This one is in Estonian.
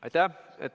Aitäh!